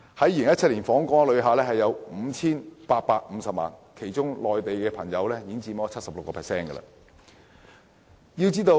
2017年錄得的 5,850 萬訪港旅客中 ，76% 來自內地。